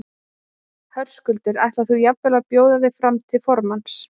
Höskuldur: Ætlar þú jafnvel að bjóða þig aftur fram til formanns?